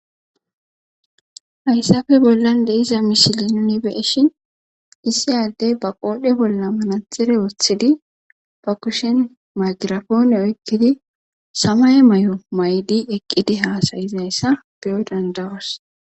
hayssafe bollan deiza mishili nuni beeshin issi addey ba qoodhe bolla manatxere woththidi ba kushen magirafoone oykkidi samay may7o maydi eqqidi haasayizayssa beyoy dandayos